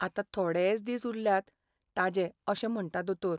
आतां थोडेच दिस उरल्यात ताजे अशें म्हणटा दोतोर.